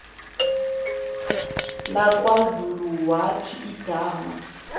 lakwazulu wathi igama